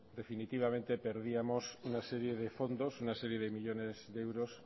definitivamente perdíamos una serie de fondos una serie de millónes de euros